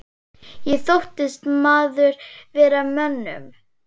Ég þóttist maður með mönnum.